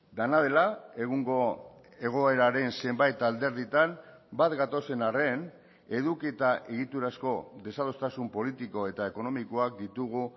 dena dela egungo egoeraren zenbait alderditan bat gatozen arren eduki eta egiturazko desadostasun politiko eta ekonomikoak ditugu